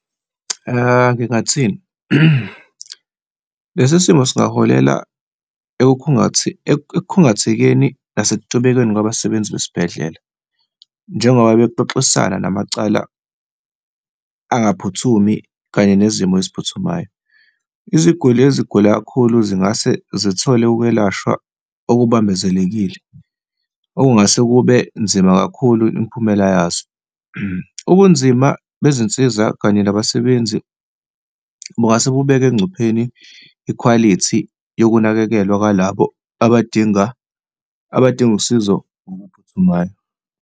Ngingathini? Lesi simo singaholela ekukhungathekeni nasekutubekeni kwabasebenzi besibhedlela, njengoba bexoxisana namacala angaphuthumi kanye nezimo eziphuthumayo. Iziguli ezigula kakhulu zingase zithole ukwelashwa okubambezelekile okungase kube nzima kakhulu imiphumela yazo. Ubunzima bezinsiza kanye nabasebenzi bungase kubeka engcupheni ikhwalithi yokunakekelwa kwalabo abadinga, abadinga usizo oluphuthumayo.